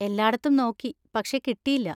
എല്ലാടത്തും നോക്കി, പക്ഷെ കിട്ടിയില്ല.